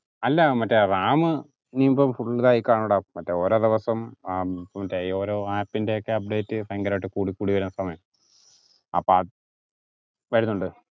അല്ല മറ്റേ ram ഇനി ഇപ്പോ പുതിയതായി കാണുഡാ മറ്റേ ഓരോ ദിവസം ഏർ ഓരോ app ന്റെ ഒക്കെ update ഭയങ്കരായിട്ട് കൂടിക്കൂടി വരുന്ന സമയം അപ്പൊ ആ വരുന്നുണ്ട്